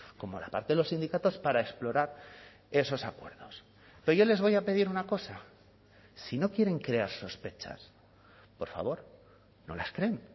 como la parte de los sindicatos para explorar esos acuerdos pero yo les voy a pedir una cosa si no quieren crear sospechas por favor no las creen